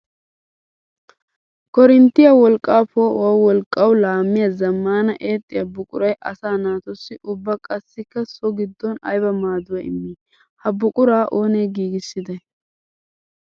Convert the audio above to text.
Koorinttiya wolqqa poo'uwaa wolqqawu laamiya zamaana eexxiya buquray asaa naatussi ubba qassikka so gidon aybba maaduwa immi? Ha buqura oonne giigissidday?